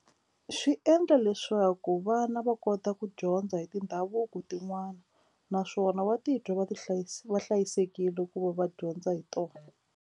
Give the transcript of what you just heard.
Swi endla leswaku vana va kota ku dyondza hi tindhavuko tin'wani naswona va titwa va va hlayisekile va dyondza hi tona.